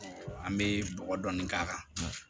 An bɛ bɔgɔ dɔɔnin k'a kan